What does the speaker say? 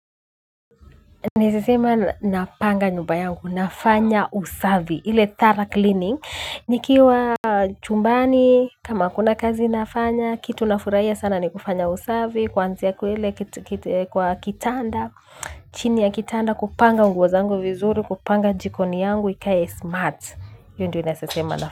Naeza sema napanga nyumba yangu, nafanya usavi, ile thorough cleaning, nikiwa chumbani, kama kuna kazi nafanya, kitu nafuraia sana ni kufanya usavi, kwanzia kwa ile kitu. Kwa kitanda, chini ya kitanda kupanga nguo zangu vizuri, kupanga jikoni yangu ikae smart, hio ndio naesasema nafanya.